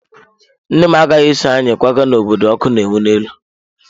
Nne m agaghị eso anyị kwaga n'obodo ọkụ na-enwu n'elu.